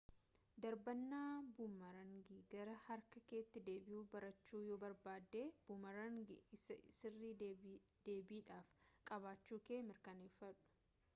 darbannaa buumaraangii gara harka keetti deebi'u barachuu yoo barbaadde buumaraangii isa sirrii deebiidhaaf qabaachuu kee mirkaneeffadhu